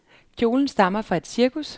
Kjolen stammer fra et cirkus.